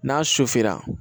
N'a su fɛra